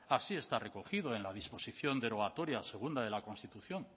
así está recogido en la disposición derogatoria segunda de la constitución